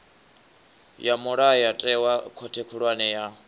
ya mulayotewa khothe khulwane ya